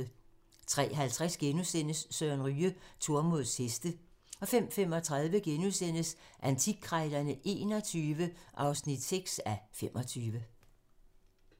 03:50: Søren Ryge: Tormods heste * 05:35: Antikkrejlerne XXI (6:25)*